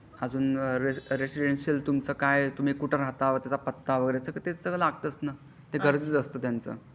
अजून रेसिडेंसिअल तुमचं काय तुम्ही कुठे राहता व त्याचा पत्ता वगैरे तेबी सगळं लागतच ना ते गरजेचं असता त्याचा